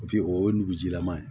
o ye nugu jilama ye